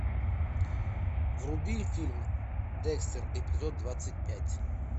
вруби фильм декстер эпизод двадцать пять